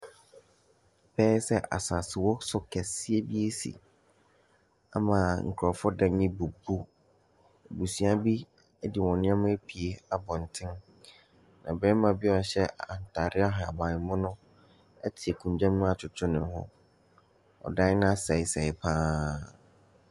Ɛbɛyɛ sɛ asaasewosow kɛseɛ bi asi ama nkurɔfoɔ dan abubu. Abusua bi de wɔn nneɛma apue abɔnten, na barima bi a ɔhyɛ ataare ahabanmono te akonnwa mu adwedwe ne ho, ɔdan no asɛesɛe pa ara.